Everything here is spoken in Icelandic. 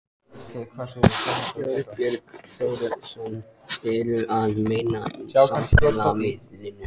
Þorbjörn Þórðarson: Eru að meina á samfélagsmiðlum?